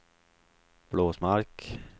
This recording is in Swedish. Blåsmark